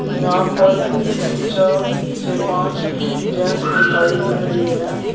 यहां पर तीन चार से पांच जेंट्स दिखाई दे रही है।